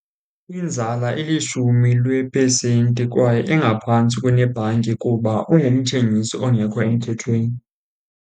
Inzala ilishumi lwepesenti kwaye ingaphantsi kunebhanki kuba ungumthengisi ongekho emthethweni.